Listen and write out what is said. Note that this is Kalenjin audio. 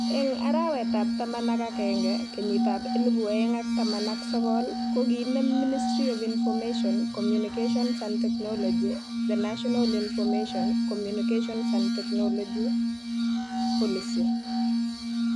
Eng arawetab taman ak agenge kenyitab elebu oeng ak taman ak sokol ko kiinem Ministry of Information ,Communications and Technology (MoICT) the National Information , Communications and Technology (ICT) policy